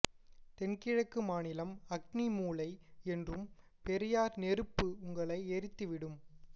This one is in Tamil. தென்கிழக்கு மாநிலம் அக்னி மூலை என்றும் பெரியார் நெருப்பு உங்களை எரித்துவிடும்